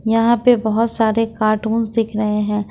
यहां पे बहुत सारे कार्टून्स दिख रहे हैं।